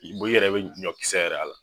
Bɔn i yɛrɛ bɛ ɲɔkisɛ yɛrɛ y'a la.